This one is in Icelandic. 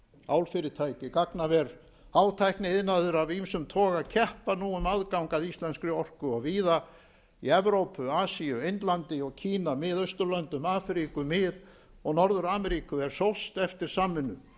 álfyrirtæki gagnaver og hátækniiðnaður af ýmsum toga keppa nú um aðgang að íslenskri orku og víða í evrópu asíu indlandi og kína mið austurlöndum afríku mið og norður ameríku er sóst eftir samvinnu